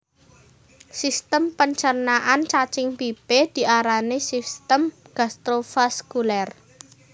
Sistem pencernaan cacing pipih diarani sistem gastrovaskuler